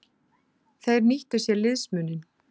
Þeir nýttu sér liðsmuninn.